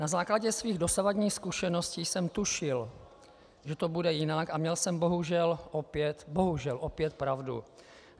Na základně svých dosavadních zkušeností jsem tušil, že to bude jinak, a měl jsem bohužel opět pravdu.